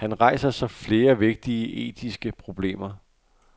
Her rejser sig flere vigtige etiske problemer.